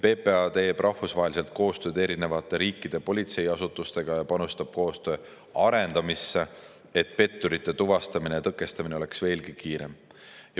PPA teeb rahvusvaheliselt koostööd eri riikide politseiasutustega ja panustab koostöö arendamisse, et petturite tuvastamine ja tõkestamine oleks veelgi kiirem.